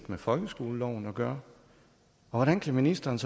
med folkeskoleloven at gøre og hvordan kan ministeren